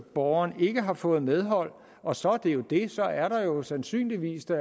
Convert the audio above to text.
borgeren ikke har fået medhold og så er det jo det så er der jo sandsynligvis da